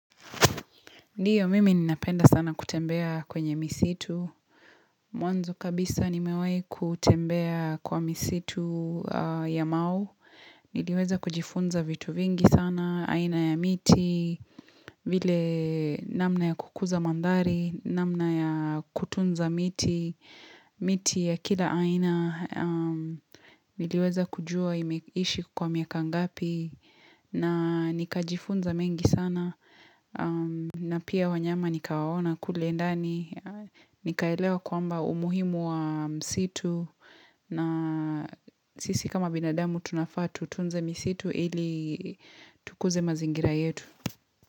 Ndiyo, mimi ninapenda sana kutembea kwenye misitu. Mwanzo kabisa nimewahi kutembea kwa misitu ya mau. Niliweza kujifunza vitu vingi sana, aina ya miti, vile namna ya kukuza madhari, namna ya kutunza miti, miti ya kila aina niliweza kujua imeishi kwa miaka ngapi, na nikajifunza mengi sana, na pia wanyama nikawaona kule endani nikaelewa kwamba umuhimu wa msitu na sisi kama binadamu tunafaa tutunze msitu ili tukuze mazingira yetu.